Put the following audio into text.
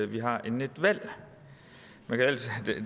vi har inden et valg